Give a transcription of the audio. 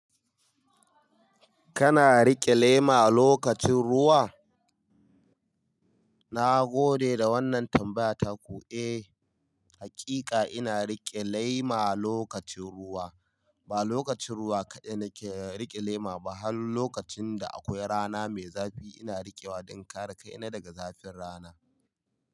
Kana rike lema a lokacin ruwa? Na gode da wannan tambaya ta ku. Eh, hakika ina rike lema lokacin ruwa. Ba lokacin ruwa kadai nake rike lema ba, har lokacin da akwai rana mai zafi ina riƙewa dan kare kaina daga zafin rana.